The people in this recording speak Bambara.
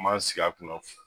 an m'an sigi a kun na